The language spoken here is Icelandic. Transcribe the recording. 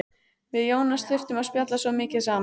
Við Jónas þurftum að spjalla svo mikið saman.